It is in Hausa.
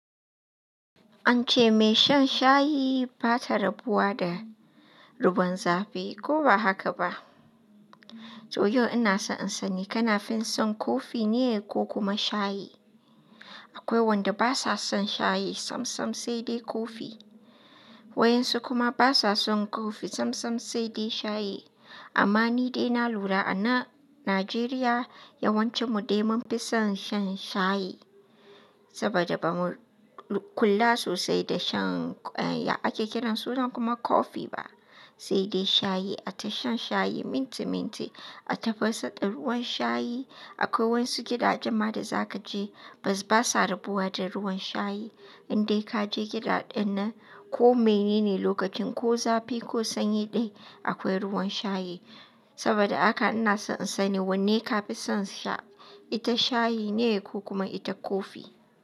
An ce mai shan shayi ba ta rabuwa da ruban zafi ko ba haka ba? To yau ina so in sani ka na fi son kofi ne ko kuma shayi? Akwai wanda basa son shayi sam sam sai dai kofi. Wayan su kuma basa son kofi sam sam sai dai shayi. Amma ni dai na lura ana Nijeriya yawancin mu dai mun fi son shan shayi, saboda ba mu kula sosai da shan, ake kiran sunan kuma kofi ba. Sai dai shayi, a ta shan shayi minti minti, a tafasa ɗan ruwan shayi. Akwai wayansu gidajen ma da za kaje basa rabuwa da ruwan shayi. Indai kaje gida ɗin nan ko menene lokacin ko zafi ko sanyi dai akwai ruwan shayi. Saboda haka ina so in sani wanne ka fi son sha, ita shayi ne ko kuma ita kofi?